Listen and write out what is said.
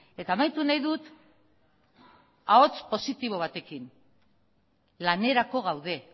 eta amaitu nahi dut ahots positibo batekin lanerako gaude